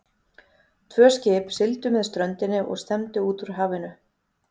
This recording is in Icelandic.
Tvö skip sigldu með ströndinni og stefndu út úr hafinu.